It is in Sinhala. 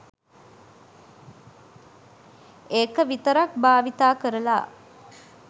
ඒක විතරක් භාවිතා කරලා